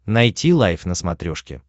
найти лайф на смотрешке